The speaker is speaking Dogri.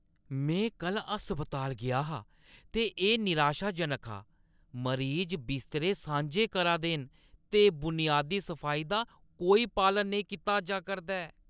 में कल्ल अस्पताल गेआ हा ते एह् नराशाजनक हा। मरीज बिस्तरे सांझे करा दे न ते बुनियादी सफाई दा कोई पालन नेईं कीता जा करदा ऐ।